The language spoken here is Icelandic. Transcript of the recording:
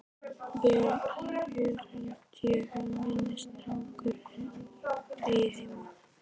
Vel, hér held ég að minn strákur eigi heima.